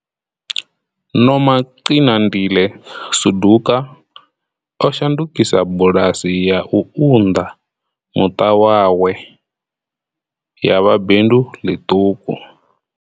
Nomagcinandile Suduka o shandukisa bulasi ya u unḓa muṱa wa hawe ya vha bindu ḽiṱuku.